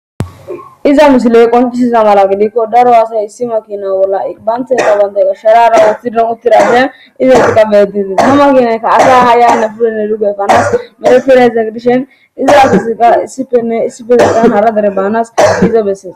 iza misiley qoncisiza mala gidikko daro asay issima kina bolla baantey qabanday asharara wothidan uttira afiyan izet qabetiti hama kinaykka asa ha yaanna purenne dugefanas medafira ezegdishen izaa gisika issifenne issifezestan hara dare baanas iza beses.